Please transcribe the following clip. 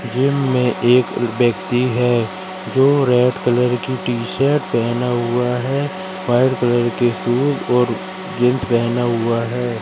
Gym में एक व्यक्ति है जो रेड कलर की टी शर्ट पहना हुआ है वाइट कलर की शूज और जींस पहना हुआ है।